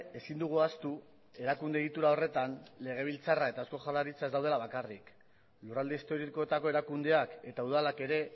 ezin dugu ahaztu erakunde egitura horretan legebiltzarra eta eusko jaurlaritza ez daudela bakarrik lurralde historikoetako erakundeak eta udalak ere